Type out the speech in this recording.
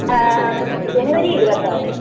ങാ...ജനുവരി 26.